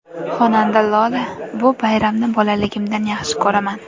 Xonanda Lola: Bu bayramni bolaligimdan yaxshi ko‘raman!